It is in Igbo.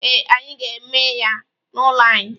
Ee, anyị ga-eme ya n'ụlọ anyị.